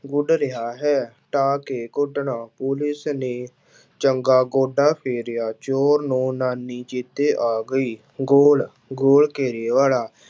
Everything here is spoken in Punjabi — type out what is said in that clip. ਗੁੱਡ ਰਿਹਾ ਹੈ, ਢਾਹ ਕੇ ਕੁੱਟਣਾ ਪੁਲਿਸ ਨੇ ਚੰਗਾ ਗੋਢਾ ਫੇਰਿਆ ਚੋਰ ਨੂੰ ਨਾਨੀ ਚੇਤੇ ਆ ਗਈ, ਗੋਲ ਗੋਲ ਘੇਰੇ ਵਾਲਾ